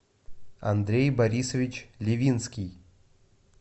андрей борисович левинский